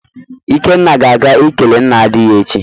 Ikenna ga-aga ikele nna di ya echi.